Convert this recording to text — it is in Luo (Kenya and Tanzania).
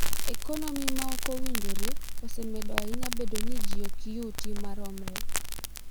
Ekonomi ma ok owinjore osemedo ahinya bedo ni ji ok yuti maromre.